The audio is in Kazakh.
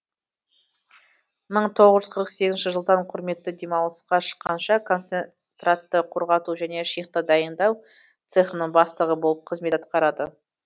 мың тоғыз жүз қырық сегізінші жылдан құрметті демалысқа шыққанша концентратты құрғату және шихта дайыңдау цехының бастығы болып қызмет атқарады